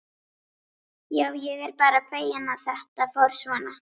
Já, ég er bara feginn að þetta fór svona.